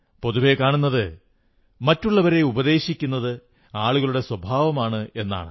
പൊതുവെ കാണുന്നത് മറ്റുള്ളവരെ ഉപദേശിക്കുന്നത് ആളുകളുടെ സ്വഭാവമാണെന്നാണ്